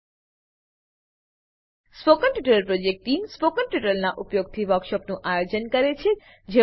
spoken tutorial project team spoken ટ્યુટોરીયલોનાં ઉપયોગથી વર્કશોપોનું આયોજન કરે છે